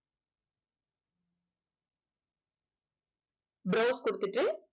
browse குடுத்துட்டு